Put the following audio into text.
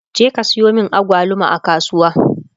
je ka Sayo min agwaluma a kasuwa!